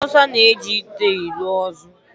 Ndị Awụsa na-eji ite elu ozu.